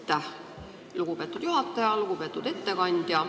Aitäh, lugupeetud juhataja!